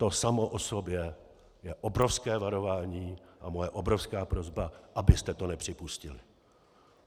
To samo o sobě je obrovské varování a moje obrovská prosba, abyste to nepřipustili.